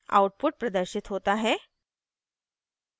output प्रदर्शित होता है